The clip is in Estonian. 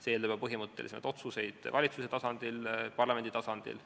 See eeldab juba põhimõttelisi otsuseid valitsuse ja parlamendi tasandil.